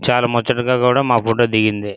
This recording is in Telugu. చాల ముచ్చటగా కూడా మా ఫోటో దిగింది.